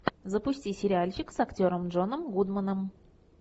запусти сериальчик с актером джоном гудманом